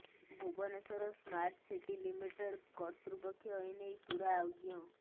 Bhubaneswar smart city limited କର୍ତ୍ତୃପକ୍ଷ ଏନେଇ ପୂରା ଅଜ୍ଞ